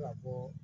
Ka bɔ